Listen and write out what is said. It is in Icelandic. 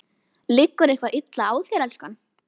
Liggur eitthvað illa á þér, elskan?